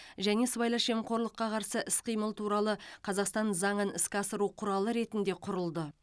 және сыбайлас жемқорлыққа қарсы іс қимыл туралы қазақстан заңын іске асыру құралы ретінде құрылды